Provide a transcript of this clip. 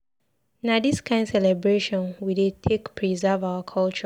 Na dis kain celebration we dey take preserve our culture.